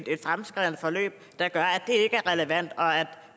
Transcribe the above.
et fremskredent forløb der gør at det ikke er relevant og at